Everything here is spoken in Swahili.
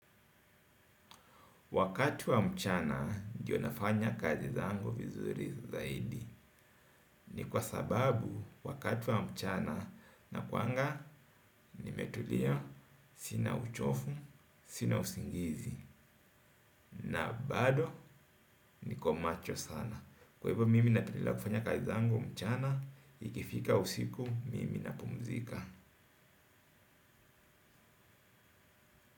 Wakati wa mchana, ndio nafanya kazi zangu vizuri zaidi. Ni kwa sababu, wakatu wa mchana nakuanga, nimetulia, sina uchovu, sina usingizi, na bado, niko macho sana. Kwa hivyo, mimi napendelea kufanya kazi zangu mchana, ikifika usiku, mimi napumzika.